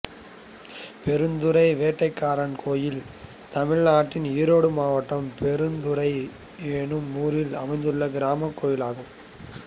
பெருந்துறை வேட்டைக்காரன் கோயில் தமிழ்நாட்டில் ஈரோடு மாவட்டம் பெருந்துறை என்னும் ஊரில் அமைந்துள்ள கிராமக் கோயிலாகும்